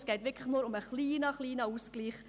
Es geht nur um einen kleinen Ausgleich.